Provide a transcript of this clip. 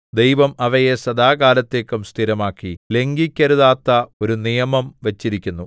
ദൈവം അവയെ സദാകാലത്തേക്കും സ്ഥിരമാക്കി ലംഘിക്കരുതാത്ത ഒരു നിയമം വച്ചിരിക്കുന്നു